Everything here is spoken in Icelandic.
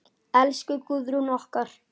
Elsku Guðrún okkar.